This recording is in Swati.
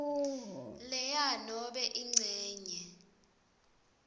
lea nobe incenye